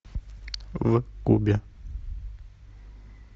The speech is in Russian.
в кубе